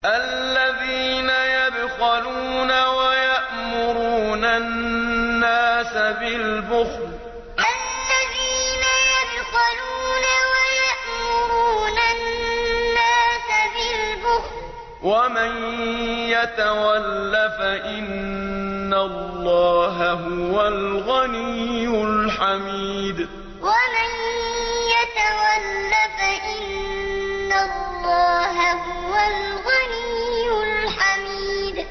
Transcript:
الَّذِينَ يَبْخَلُونَ وَيَأْمُرُونَ النَّاسَ بِالْبُخْلِ ۗ وَمَن يَتَوَلَّ فَإِنَّ اللَّهَ هُوَ الْغَنِيُّ الْحَمِيدُ الَّذِينَ يَبْخَلُونَ وَيَأْمُرُونَ النَّاسَ بِالْبُخْلِ ۗ وَمَن يَتَوَلَّ فَإِنَّ اللَّهَ هُوَ الْغَنِيُّ الْحَمِيدُ